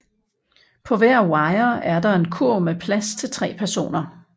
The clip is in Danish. På hver wire er der en kurv med plads til tre personer